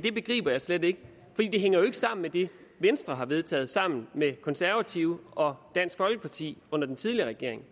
begriber jeg slet ikke det hænger jo ikke sammen med det venstre har vedtaget sammen med konservative og dansk folkeparti under den tidligere regering